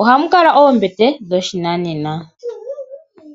ohamukala oombete dhoshinanena.